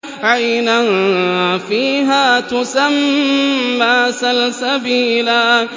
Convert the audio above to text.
عَيْنًا فِيهَا تُسَمَّىٰ سَلْسَبِيلًا